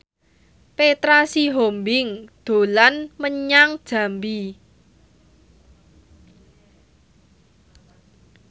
Petra Sihombing dolan menyang Jambi